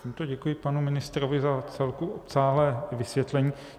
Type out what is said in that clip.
Tímto děkuji panu ministrovi za vcelku obsáhlé vysvětlení.